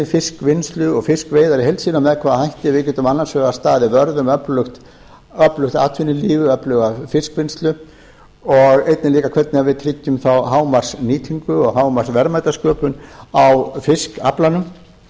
fiskvinnslu og fiskveiðar í heild sinni með hvaða hætti við getum annars vegar staðið vörð um öflugt atvinnulíf eða öfluga fiskvinnslu og einnig líka hvernig við tryggjum þá hámarksnýtingu og hámarksverðmætasköpun á fiskaflanum hvort